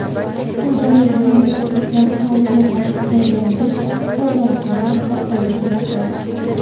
Shu bois bu yerda Turkiya texnologiyasi asosida yangi qozonxona barpo etilmoqda.